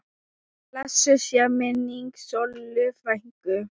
Blessuð sé minning Sollu frænku.